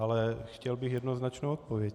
Ale chtěl bych jednoznačnou odpověď.